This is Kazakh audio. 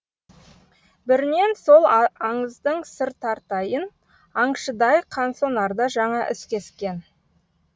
бірінен сол аңыздың сыр тартайын аңшыдай қансонарда жаңа із кескен